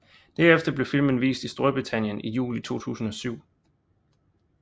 Derefter blev filmen vist i Storbritannien i juli 2007